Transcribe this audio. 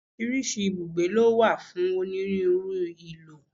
Oríṣiríṣi ibùgbé ló wà fún onírúurú ìlò.